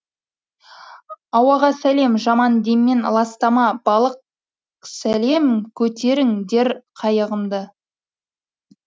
ауаға салем жаман деммен ластама балық салем көтеріңдер қайығымды